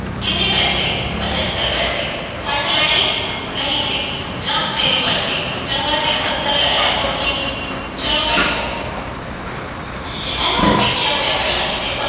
ਪੈਸੇ? ਪੰਝੱਤਰ ਪੈਸੇ, ਸੱਠ ਲੈਣੇ ਈਂ? ਨਹੀਂ ਜੀ, ਜਾਹ ਤੇਰੀ ਮਰਜ਼ੀ? ਚੰਗਾ ਜੀ, ਸੱਤਰ ਲੈ ਲੈ, ਹੋਰ ਕੀ, ਚਲੋ ਬੈਠੋ, ਇਹਨੂੰ ਮੈਂ ਵੇਖਿਆ ਹੋਇਐ, ਪਹਿਲਾਂ ਕਿਤੇ। ਪਰ